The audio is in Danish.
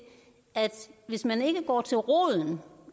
at hvis man ikke går til roden